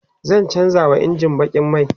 zan chanza wa injin bakin mai